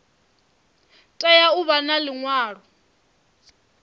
tea u vha na liṅwalo